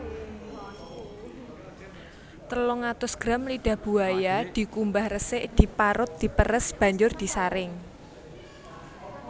Telung atus gram lidah buaya dikumbah resik diparut diperes banjur disaring